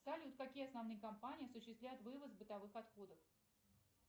салют какие основные компании осуществляют вывоз бытовых отходов